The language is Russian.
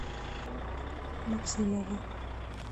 максимову